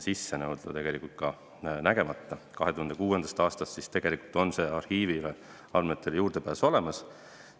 Seega on alates 2006. aastast arhiiviandmetele juurdepääs olemas.